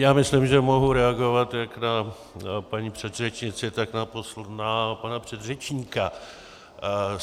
Já myslím, že mohu reagovat jak na paní předřečnici, tak na pana předřečníka.